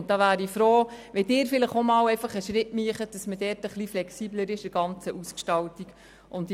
Hier wäre ich froh, wenn Sie vielleicht einmal einen Schritt machen würden, damit man in der Ausgestaltung flexibler würde.